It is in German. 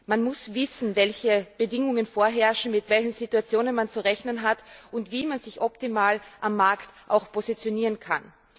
Man muss wissen, welche Bedingungen vorherrschen, mit welchen Situationen man zu rechnen hat, und wie man sich optimal am Markt positionieren kann.